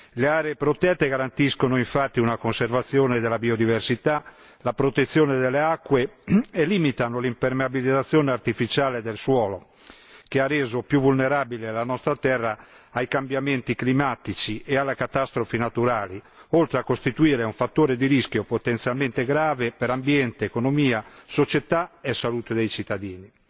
Le aree protette garantiscono, infatti, una conservazione della biodiversità, la protezione delle acque e limitano l'impermeabilizzazione artificiale del suolo, che ha reso più vulnerabile la nostra terra ai cambiamenti climatici e alle catastrofi naturali, oltre a costituire un fattore di rischio potenzialmente grave per ambiente, economia, società e salute dei cittadini.